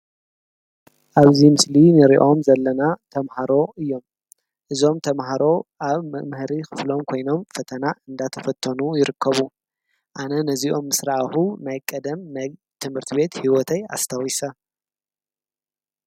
ኣብዚ ምስሊ እንርእዮም ዘለና ተምሃሮ እዮም:: እዞም ተምሃሮ ኣብ መምሃሪ ኽፍሎም ኾይኖ ፈተና እንዳተፈተኑ ይርከቡ፤ ኣነ ነዚኦም ምስ ረኣኩ ናይ ቀደም ናይ ትምህርቲ ቤት ሂወተይ ኣስታዊሰ።